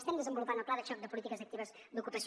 estem desenvolupant el pla de xoc de polítiques actives d’ocupació